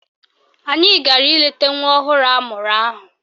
Anyị gara ileta nwa ọhụrụ amụrụ ahụ